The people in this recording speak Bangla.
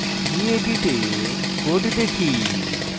gedit এ code দেখি